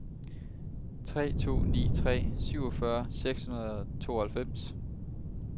tre to ni tre syvogfyrre seks hundrede og tooghalvfems